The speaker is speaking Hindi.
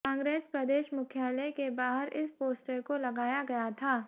कांग्रेस प्रदेश मुख्यालय के बाहर इस पोस्टर को लगाया गया था